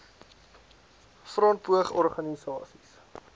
front poog organisasies